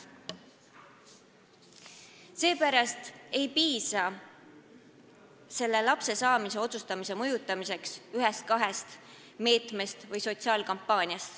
Seepärast ei piisa selleks, et mõjutada inimeste otsust laste saamise kohta, ühest-kahest meetmest või sotsiaalkampaaniast.